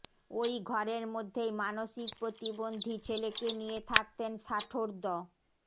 ওই ঘরের মধ্যেই মানসিক প্রতিবন্ধী ছেলেকে নিয়ে থাকতেন ষাটোর্ধ্ব